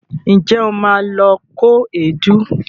Ǹjẹ́ o ma lọ kó èédú?